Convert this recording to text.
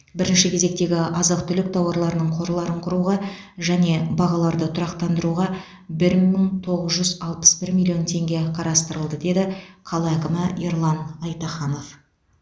бірінші кезектегі азық түлік тауарларының қорларын құруға және бағаларды тұрақтандыруға бір мың тоғыз жүз алпыс бір миллион теңге қарастырылды деді қала әкімі ерлан айтаханов